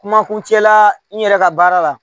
Kuma kuncɛ la n yɛrɛ ka baara la